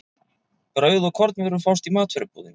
Brauð og kornvörur fást í matvörubúðinni.